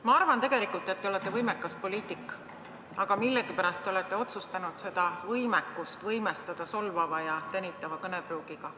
Ma arvan tegelikult, et te olete võimekas poliitik, aga millegipärast olete otsustanud seda võimekust võimestada solvava ja tänitava kõnepruugiga.